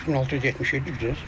3677 düzdür?